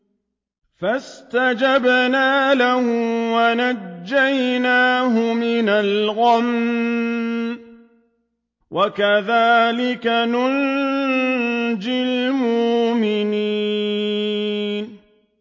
فَاسْتَجَبْنَا لَهُ وَنَجَّيْنَاهُ مِنَ الْغَمِّ ۚ وَكَذَٰلِكَ نُنجِي الْمُؤْمِنِينَ